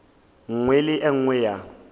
nngwe le e nngwe ya